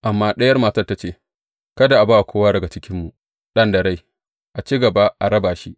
Amma ɗayan matar ta ce, Kada a ba kowa daga cikinmu ɗan da rai, a ci gaba a raba shi!